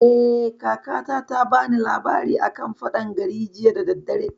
Eh, kakata ta bani labari a kan faɗan gari jiya da daddare